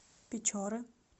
печоры